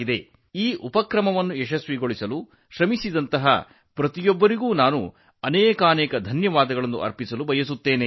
ಈ ಉಪಕ್ರಮಕ್ಕಾಗಿ ಶ್ರಮಿಸುತ್ತಿರುವ ಎಲ್ಲರನ್ನು ನಾನು ಅಭಿನಂದಿಸುತ್ತೇನೆ ಅವರು ತಮ್ಮ ಅವಿರತ ಪರಿಶ್ರಮದಿಂದ ಇದನ್ನು ಯಶಸ್ವಿಗೊಳಿಸಿದ್ದಾರೆ